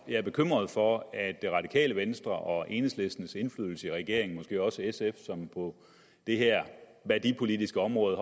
jeg er bekymret for at det radikale venstre og enhedslistens indflydelse i regeringen måske også sf som på det her værdipolitiske område